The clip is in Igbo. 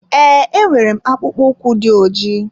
Ee, enwere m akwụkpo ụkwụ dị ojii.